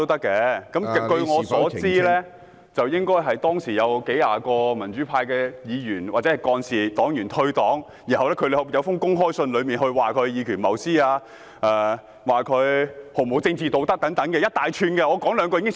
據我所知，有數十名民主黨的議員、幹事或黨員在退黨後撰寫了一封公開信，批評林卓廷議員以權謀私、毫無政治道德等，我只說其中一二。